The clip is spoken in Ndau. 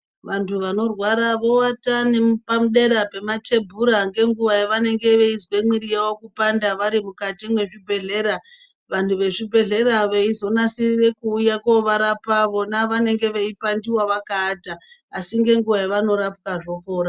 Vantu vanorwara vowata nepadera pematebhura ngenguwa yavenenge veizwe mwiri yavo kupanda vari mukati mwezvibhedhleya vantu vezvibhedhelya veizonasirire kuuye kovarapa vona vanenge veipandiwa vakaata asi ngenguwa yamunorapiwa zvopora.